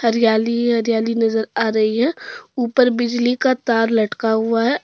हरियाली ही हरियाली नजर आ रही है ऊपर बिजली का तार लटका हुआ है।